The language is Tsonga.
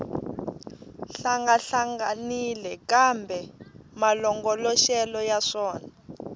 hlangahlanganile kambe malongoloxelo ya swona